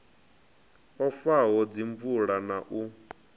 o faho dzimvalo na u